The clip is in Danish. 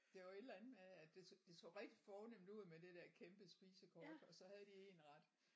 Det var et eller andet med at det så det så rigtig fornemt ud med det der kæmpe spisekort og så havde de 1 ret